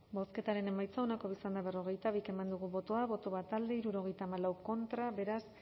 bozketaren emaitza onako izan da berrogeita bi eman dugu bozka bat boto alde setenta y cuatro contra beraz